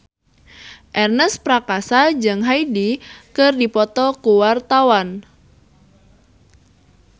Ernest Prakasa jeung Hyde keur dipoto ku wartawan